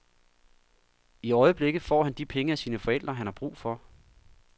I øjeblikket får han de penge af sine forældre, han har brug for.